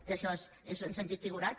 que això és en sentit figurat